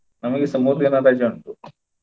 ನಮಿಗೆಸ ಮೂರು ದಿನ ರಜೆ ಉಂಟು.